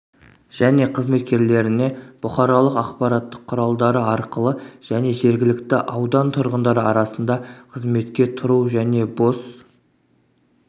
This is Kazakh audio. және қызметкерлеріне бұқаралық ақпараттық құралдары арқылы және жергілікті аудан тұрғындары арасында қызметке тұру және бос